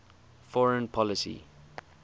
foreign policy